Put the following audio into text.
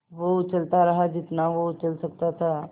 वो उछलता रहा जितना वो उछल सकता था